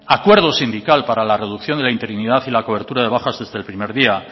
acuerdo sindical para la reducción de la interinidad y la cobertura de bajas desde el primer día